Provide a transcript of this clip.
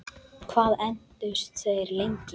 Hvað entust þeir lengi?